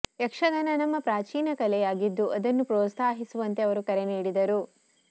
ಯಕ್ಷಗಾನ ನಮ್ಮ ಪ್ರಾಚೀನ ಕಲೆಯಾಗಿದ್ದು ಅದನ್ನು ಪ್ರೋತ್ಸಾಹಿಸುವಂತೆ ಅವರು ಕರೆ ನೀಡಿದರು